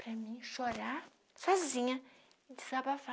Para mim chorar sozinha e desabafar.